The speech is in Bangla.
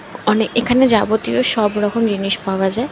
অনেক এখানে যাবতীয় সব রকম জিনিস পাওয়া যায়।